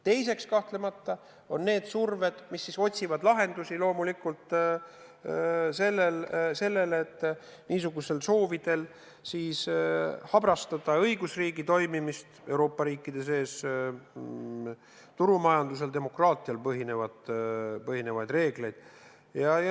Teiseks kahtlemata on need surved, mis otsivad loomulikult sellele lahendusi, et soovitakse habrastada õigusriigi toimimist Euroopa riikides, turumajandusel ja demokraatial põhinevaid reegleid.